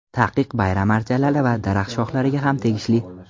Taqiq bayram archalari va daraxt shohlariga ham tegishli.